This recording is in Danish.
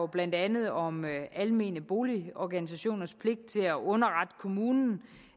blandt andet om almene boligorganisationers pligt til at underrette kommunen